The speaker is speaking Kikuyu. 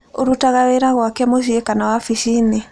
ũrutaga wĩra gwake mũciĩ kana wabici-inĩ?